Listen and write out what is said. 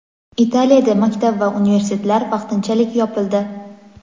Italiyada maktab va universitetlar vaqtinchalik yopildi.